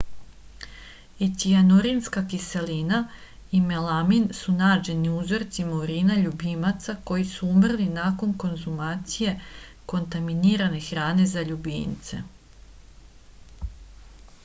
i cijanurinska kiselina i melamin su nađeni u uzorcima urina ljubimaca koji su umrli nakon konzumacije kontaminirane hrane za ljubimce